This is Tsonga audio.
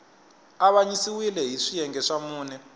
avanyisiwile hi swiyenge swa mune